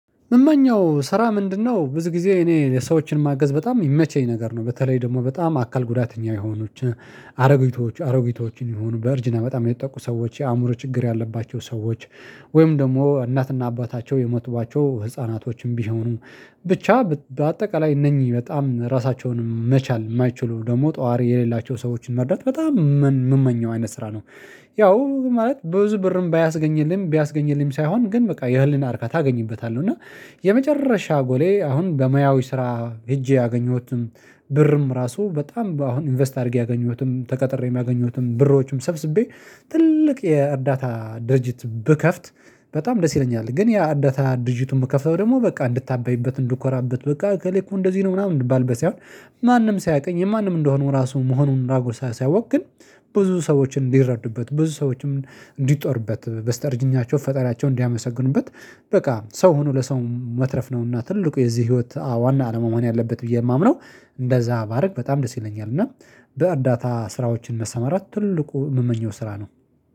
ምመኘው ስራ ምንድነው? ብዙ ጊዜ እኔ ለሰዎችን ማገዝ በጣም የሚመቸኝ ነገር ነው በተለይ ደግሞ በጣም አካል ጉዳተኛ የሆቻ አሮጊቶች አሮጊቶችን የሆኑ በርጅና በጣም የተጠቁ ሰዎች የአእምሮ ችግር ያለባቸው ሰዎች። ወይም ደግሞ እናትና አባታቸው የሞትቧቸው ህፃናቶችም ቢሆኑ ብቻ በአጠቃላይ እነኚህ በጣም ራሳቸውን መቻል የማይችሉ ደግሞ ጠዋሪ የሌላቸውን ሰዎችን መርዳት በጣም የምመኘው አይነት ስራ ነው። ያው ማለት ብዙ ብርም ባያስገኝልኝም ቢያስገኝልኝም ሳይሆን ግን በቃ የህልና አርካታ አገኝበታለሁ እና። የመጨረሻ ጎሌ አሁን በሙያው ስራ ሄጄ ያገኘሁትም ብርም ራሱ በጣም አሁን ኢንቨስት አድርጌ ያገኘሁትም ተቀጥሬ ያገኘሁትም ብሮችም ሰብስቤ ትልቅ የእርዳታ ድርጅት ብከፍት በጣም ደስ ይለኛል። ግን ያ እርዳታ ድርጅቱን የምከፈው ደግሞ በቃ እንድታበይበት እንድኮራበት በቃ ከሌኮ እንደዚህ ነው ምናምን እንድባልበት ሳይሆን ማንም ሳያውቀኝ የማንም እንደሆኑ ራሱ መሆኑን ራጎ ሳያሳውቅ ግን። ብዙ ሰዎችን እንዲረዱበት ብዙ ሰዎችም እንዲጦርበት በስተርጅኛቸው ፈጣሪአቸውን እንዲያመሰግኑበት። በቃ ሰው ሆኖ ለሰው መትረፍ ነውና ትልቁ የዚህ ህይወት አዎ ዋና አላማ መሆን ያለበት ብዬ የማምነው። እንደዛ ባደርግ በጣም ደስ ይለኛል። እና በአዳታ ስራዎች እንደሰማራት ትልቁ የምመኘው ስራ ነው።